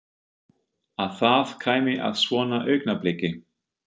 Að það kæmi að svona augnabliki.